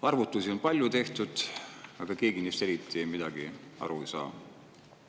Arvutusi on palju tehtud, aga keegi neist eriti midagi aru ei saa.